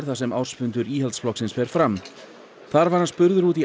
þar sem ársfundur Íhaldsflokksins fer fram þar var hann spurður út í